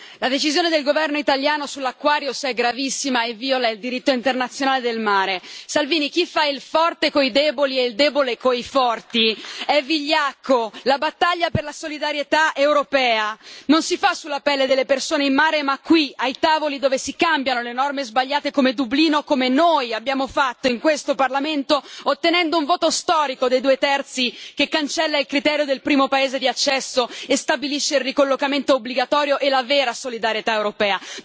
Signor Presidente, onorevoli colleghi, la decisione del governo italiano sull'Aquarius è gravissima e viola il diritto internazionale del mare. Salvini, chi fa il forte coi deboli e il debole coi forti è vigliacco. La battaglia per la solidarietà europea non si fa sulla pelle delle persone in mare, ma qui ai tavoli dove si cambiano le norme sbagliate come Dublino, come noi abbiamo fatto in questo Parlamento, ottenendo un voto storico dei due terzi, che cancella il criterio del primo paese di accesso e stabilisce il ricollocamento obbligatorio e la vera solidarietà europea.